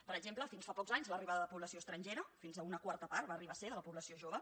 per exemple fins fa pocs anys l’arribada de població estrangera fins a una quarta part va arribar a ser de la població jove